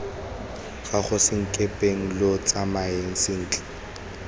gago senkepeng lo tsamae sentle